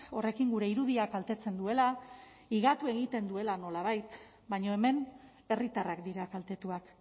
horrekin gure irudia kaltetzen duela higatu egiten duela nolabait baina hemen herritarrak dira kaltetuak